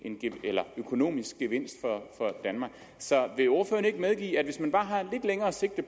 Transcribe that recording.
økonomisk gevinst for danmark så vil ordføreren ikke medgive at hvis man bare har lidt længere sigt og